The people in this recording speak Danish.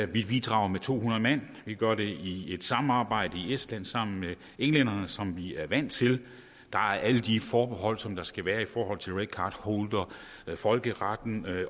vi bidrager med to hundrede mand vi gør det i et samarbejde i estland sammen med englænderne som vi er vant til der er alle de forbehold som der skal være i forhold til red card holder folkeretten